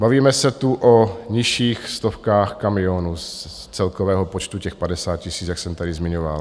Bavíme se tu o nižších stovkách kamionů z celkového počtu těch 50 000, jak jsem tady zmiňoval.